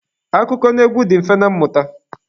Akụkọnaegwu dị mfe na mmụta.